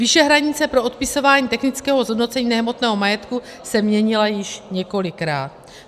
Výše hranice pro odpisování technického zhodnocení nehmotného majetku se měnila již několikrát.